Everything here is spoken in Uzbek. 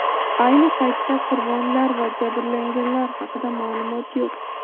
Ayni paytda qurbonlar va jabrlanganlar haqida ma’lumot yo‘q.